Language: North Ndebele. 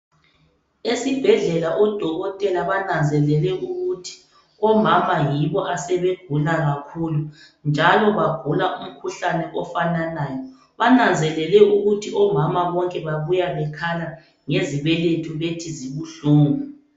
Esibhedlela odokotela bananzelele ukuthi omama yibo asebegula kakhulu njalo bagula umkhuhlane ofananayo bananzelele ukuthi omama bonke babuya bekhala ngezibeletho bethi zibuhlungu.